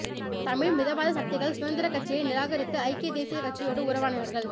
தமிழ் மிதவாத சக்திகள் சுதந்திரக் கட்சியை நிராகரித்து ஐக்கிய தேசியக் கட்சியோடு உறவாடினார்கள்